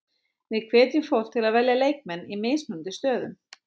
Við hvetjum fólk til að velja leikmenn í mismunandi stöðum.